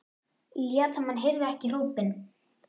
Lét sem hann heyrði ekki hrópin.